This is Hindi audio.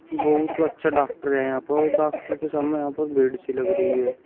बहुत अच्छा डॉक्टर है यहाँ पर और डॉक्टर के सामने यहाँ पर भीड़ सी लग रही है।